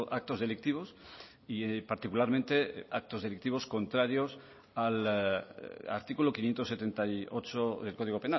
actos delictivos y particularmente actos delictivos contrarios al artículo quinientos setenta y ocho del código